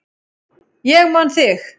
Ég man þig.